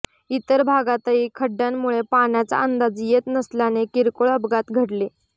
इतर भागातही खड्ड्यामुळे पाण्याचा अंदाज येत नसल्याने किरकोळ अपघात घडले